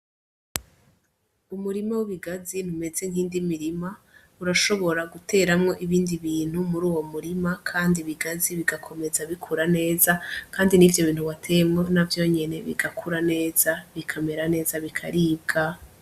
Umurima w'ibigazi imeze nkizindi mirima urashobora guteramwo ibindi bintu muruwo murima kandi ibigazi bigakomeza bikura neza kandi nivyo bintu wateyemwo navyo nyene bigakura neza bikamera neza bikaribwa.